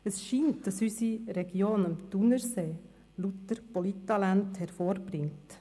Es scheint so, dass unsere Region am Thunersee lauter Polittalente hervorbringt.